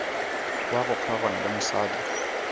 wa go kgaogana le mosadi